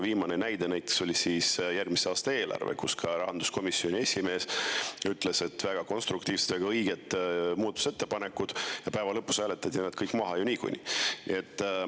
Viimane näide oli järgmise aasta eelarve, mille puhul ka rahanduskomisjoni esimees ütles, et väga konstruktiivsed, väga õiged muudatusettepanekud, ja lõpuks hääletati kõik maha ju niikuinii.